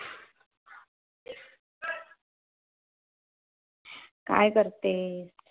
काय करतेय?